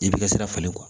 I bɛ ka sira falen